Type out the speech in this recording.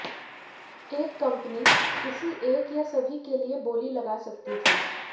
एक कंपनी किसी एक या सभी के लिए बोली लगा सकती थी